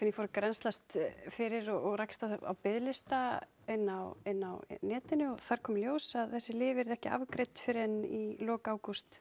ég fór að grennslast fyrir og rakst á biðlista inni á inni á netinu og þar kom í ljós að þessi lyf yrðu ekki afgreidd fyrr en í lok ágúst